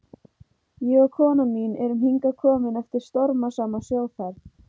Ég og kona mín erum hingað komin eftir stormasama sjóferð.